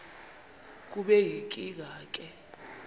kube yinkinge ke